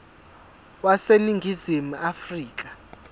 wase ningizimu afrika